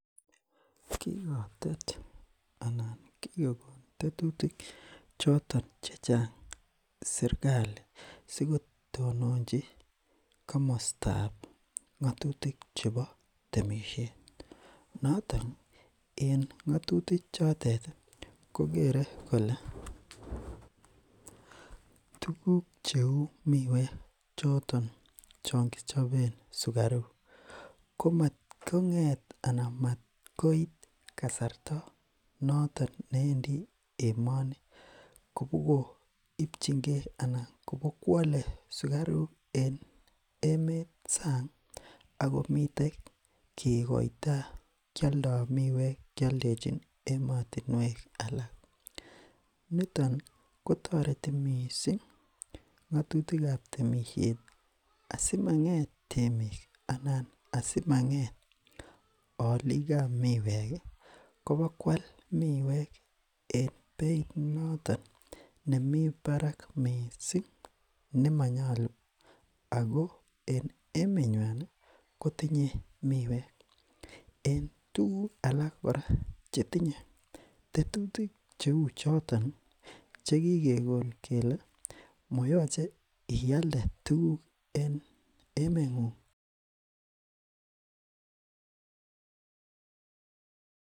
kikotet anan kikokon tetutik choton chechang serkali sikotononchi komosotab ngotutik chebo temishet notoni en ngotuti chotet kokere kole tuguk cheu miwek choton chonkichoben suksruk komat konget mat koit kasarta noton newendi emoni koboipchinkee anan kobokwole sukaruk en emet sang akomiten kikoito kioldo miwek kioldechin emotinwek alak niton kotoreti mising ngotutikab temishet asimanget emet anan asimanget olikab miweki kobakwal miwek en beit noton nemi barak mising nemonyolu ako en emenywanikotinye miwek en tuguk alak chetinye tetutik cheu chotoni chekikon kele moyoche ialde tuguk en emengung